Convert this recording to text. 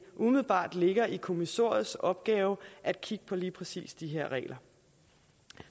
umiddelbart ligger i kommissoriets opgave at kigge på lige præcis de her regler